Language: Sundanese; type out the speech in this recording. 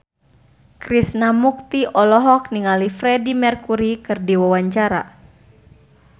Krishna Mukti olohok ningali Freedie Mercury keur diwawancara